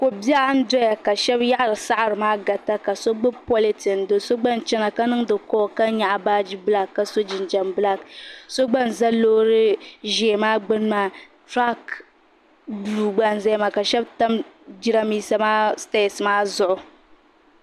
Kobɛɣu n doya ka shɛbi yaɣari saɣari maa n garita ka so gbɛbi politen do so gba n chana ka ninŋdi call ka nyɛɣi baagi bila ka-so ginjɛm black so gba n ƶa lorry ʒɛɛ maa gbɛni maa truck blue gba n ƶaya maa ka shɛbi tam giranbisa stɛs maa ƶuɣu .